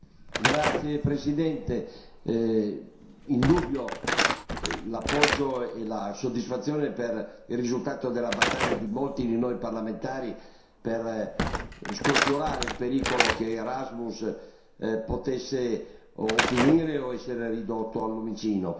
Signor Presidente, indubbi l'appoggio e la soddisfazione per il risultato della battaglia di molti di noi parlamentari per scongiurare il pericolo che Erasmus potesse finire o essere ridotto al lumicino.